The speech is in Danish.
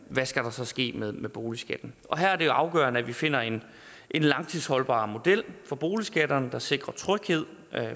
skal der så ske med med boligskatten og her er det jo afgørende at vi finder en langtidsholdbar model for boligskatten der sikrer tryghed